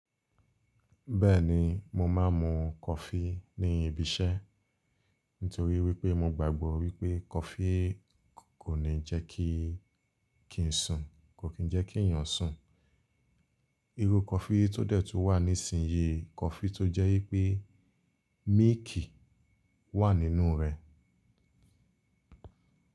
Bẹ́ẹ̀ni, mo máa ń mu kọfí ní ibi-iṣẹ́ nítorí wipé mo gbàgbọ́ wipé kọfí kò ní jẹ́kí ki n sun. Kò kín jẹ́ kí èeyàn sùn. Irú kọfí tó dẹ̀ tú wà nísìnyí kọfí tó jẹ́ wipé milk wà nínú rẹ̀.